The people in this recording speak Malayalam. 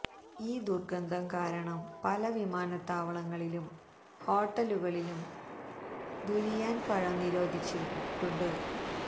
ഈ ദുര്ഗന്ധം കാരണം പല വിമാനത്താവളങ്ങളിലും ഹോട്ടലുകളിലും ദുരിയാന് പഴം നിരോധിച്ചിരിട്ടുണ്ട്